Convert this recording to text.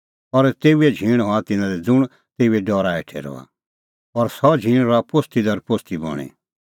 और तेऊए झींण हआ तिन्नां लै ज़ुंण तेऊए डरा हेठै रहा और सह झींण रहा पोस्ती दर पोस्ती बणीं